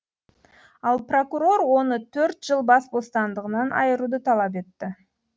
ал прокурор оны төрт жыл бас бостандығынан айыруды талап етті